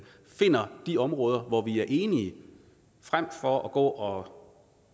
finder de områder hvor vi er enige frem for at gå